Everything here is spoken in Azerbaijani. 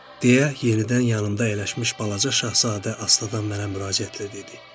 deyə yenidən yanımda əyləşmiş Balaca Şahzadə asta-adan mənə müraciətlə dedi.